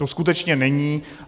To skutečně není.